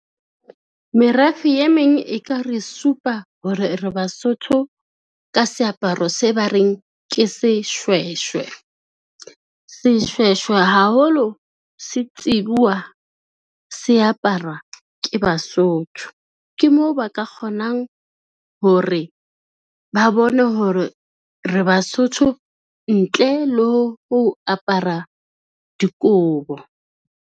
Merafe e meng e ka re supa hore re Basotho ka seaparo se ba reng ke seshweshwe. Seshweshwe haholo setsibuwa se aparwa ke Basotho, ke moo ba ka kgonang hore ba bone hore re Basotho ntle le ho apara dikobo.